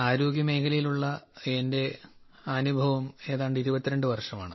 ആരോഗ്യമേഖലയിലുള്ള എന്റെ അനുഭവം 22 വർഷമാണ്